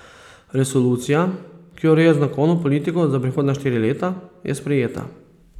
Resolucija, ki ureja jezikovno politiko za prihodnja štiri leta, je sprejeta.